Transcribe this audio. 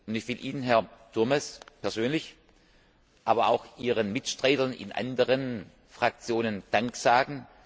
Ich will Ihnen, Herr Turmes, persönlich, aber auch Ihren Mitstreitern in anderen Fraktionen Dank sagen.